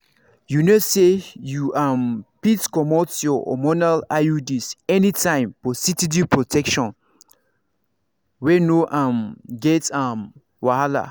you know say you um fit comot your hormonal iuds anytime for steady protection wey no um get um wahala.